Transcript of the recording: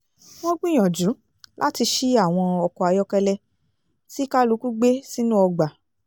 wọ́n gbìyànjú láti ṣí àwọn ọkọ̀ ayọ́kẹ́lẹ́ tí kálukú gbé sínú ọgbà